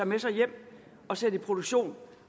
med sig hjem og sætte i produktion